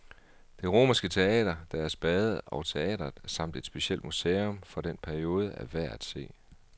Det romerske teater, deres bade og teatret, samt et specielt museum for den periode er værd at se.